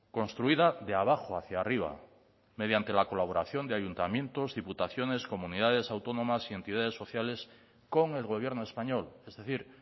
construida de abajo hacia arriba mediante la colaboración de ayuntamientos diputaciones comunidades autónomas y entidades sociales con el gobierno español es decir